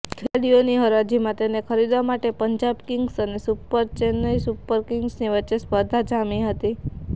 ખેલાડીઓની હરાજીમાં તેને ખરીદવા માટે પંજાબ કિંગ્સ અને ચેન્નાઈ સુપર કિંગ્સની વચ્ચે સ્પર્ધા જામી હતી